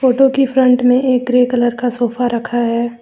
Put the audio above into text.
Photo की front में एक ग्रे कलर का सोफा रखा है।